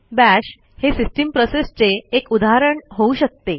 bash हे system प्रोसेसचे एक उदाहरण होऊ शकते